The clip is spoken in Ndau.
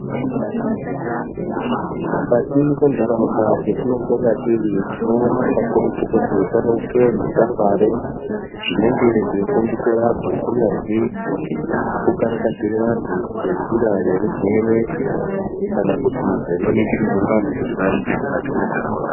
Mukati mwenharaunda dzetinopona tiri tinoona kakurutu kuti munoiswe zvikwangwari zvinenge zveifundisa antu. Kunyazwi kukarakadzire vantu ngenjira yeurwere kana kuti zvinoningirirwe vantu kuti vaite mukati mwentaraunda.